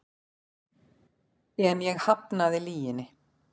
En ég hafnaði lyginni.